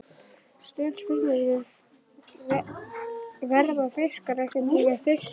Stutt spurning, verða fiskar einhverntímann þyrstir!??